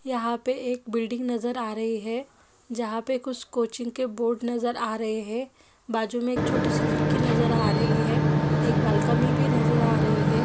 यहाँ पे एक बिल्डिंग नज़र आ रही है जहाँ पर कुछ कोचिंग के बोर्ड नज़र आ रहे है बाजु में एक छोटी सी खिड़की नज़र आ रही है एक बॉलकनी भी नज़र आ रही है।